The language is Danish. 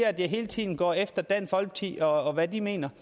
at jeg hele tiden går efter dansk folkeparti og hvad de mener